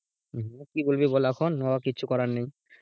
ও কি বলবি বল এখন ও কিছু করার নেই,